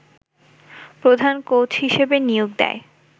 প্রধান কোচ হিসেবে নিয়োগ দেয়